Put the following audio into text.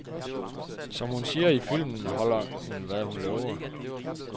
Som hun siger i filmen, holder hun, hvad hun lover.